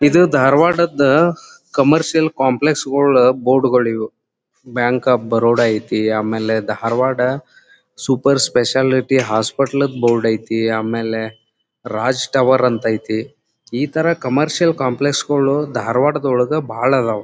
ಇದು ದಾರವಾಡದ್ commercial complex ಗುಳ ಬೋರ್ಡ್ಗಳಿವ ಬ್ಯಾಂಕ್ ಒಫ್ ಬರೋಡ ಆಯ್ತಿ ಆಮೇಲೆ Dharwad super speciality hospital board ಆಯ್ತಿ ಆಮೇಲೆ ರಾಜ್ ಟವರ್ ಅಂತ ಆಯ್ತಿ. ಇತರ ಕಮರ್ಷಿಯಲ್ ಕಾಂಪ್ಲೆಕ್ಸ್ ಗಳು ಧಾರವಾಡ ದೊಳಗ್ ಬಾಳ್ ಅದ್ವ್.